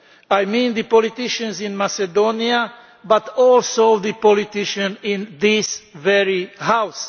I mean the politicians in Macedonia, but also the politicians in this very House.